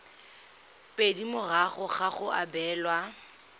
pedi morago ga go abelwa